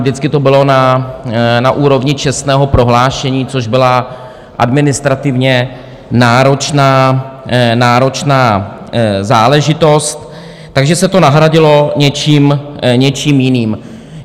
Vždycky to bylo na úrovni čestného prohlášení, což byla administrativně náročná záležitost, takže se to nahradilo něčím jiným.